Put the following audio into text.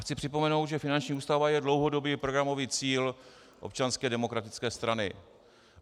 Chci připomenout, že finanční ústava je dlouhodobý programový cíl Občanské demokratické strany.